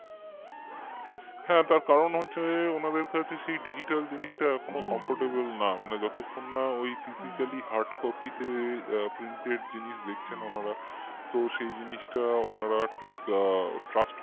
হ্যাঁ তার কারণ হচ্ছে উনাদের কাছে সেই digital জিনিসটা এখনোও comfortable না মানে যতক্ষণ না physicallyhardcopy তে printed জিনিস দেখছেন ওনারা তো সেই জিনিসটা ওনারা ঠিক trust